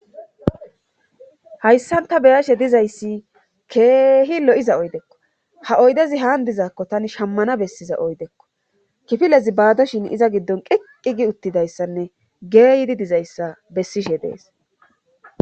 hayssanta beyashe dizayssi keehi lo7iza oydekko ha oydezi haan dizakko tani shammana bessiza oydekko kifilezi baadoshin iza giddon qeqqi gi uttidayssanne geeydi dizayssa bessishe dees